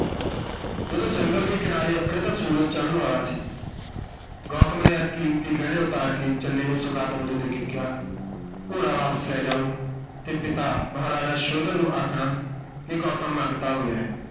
ਜਦੋਂ ਜੰਗਲ ਦੇ ਕਿਨਾਰੇ ਅੱਪੜੇ ਤਾਂ ਸੂਰਜ ਚੜ੍ਹਨ ਵਾਲਾ ਸੀ। ਗੌਤਮ ਨੇ ਇਹ ਕੀਮਤੀ ਗਹਿਣੇ ਉਤਾਰ ਕੇ ਚੰਨੇ ਨੂੰ ਸੁਗਾਤ ਵਜੋਂ ਦੇ ਕੇ ਕਿਹਾ, ਘੋੜਾ ਵਾਪਸ ਲੈ ਜਾਓ ਤੇ ਪਿਤਾ ਮਹਾਰਾਜਾ ਸੋਧਨ ਨੂੰ ਆਖਣਾ ਕਿ ਗੌਤਮ ਮੰਗਤਾ ਹੋ ਗਿਆ ਹੈ।